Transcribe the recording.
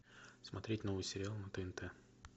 смотреть новый сериал на тнт